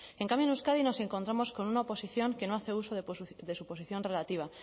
en cambio en euskadi nos encontramos con una oposición que no hace uso de su posición relativa